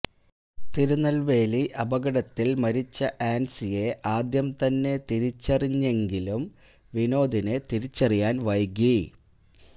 തിരുനൽവേലി അപകടത്തിൽ മരിച്ച ആൻസിയെ ആദ്യം തന്നെ തിരിച്ചറിഞ്ഞെങ്കിലും വിനോദിനെ തിരിച്ചറിയാൻ വൈകി